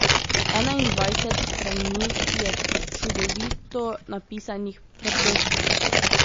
Enaindvajset strani je, čudovito napisanih, preprostih.